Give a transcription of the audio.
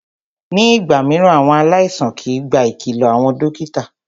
Ní ìgbà mìíràn, àwọn aláìsàn kìí gba ìkìlọ àwọn dókítà.